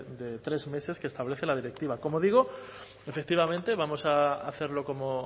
de tres meses que establece la directiva como digo efectivamente vamos a hacerlo como